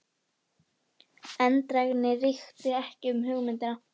Eindrægni ríkti ekki um hugmyndina.